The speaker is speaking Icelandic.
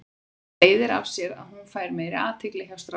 Það leiðir af sér að hún fær meiri athygli hjá strákum.